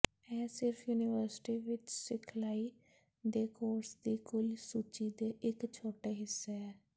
ਇਹ ਸਿਰਫ ਯੂਨੀਵਰਸਿਟੀ ਵਿਚ ਸਿਖਲਾਈ ਦੇ ਕੋਰਸ ਦੀ ਕੁੱਲ ਸੂਚੀ ਦੇ ਇੱਕ ਛੋਟੇ ਹਿੱਸਾ ਹੈ